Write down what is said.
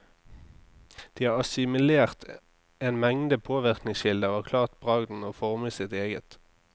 De har assimilert en mengde påvirkningskilder og klart bragden å forme sitt eget.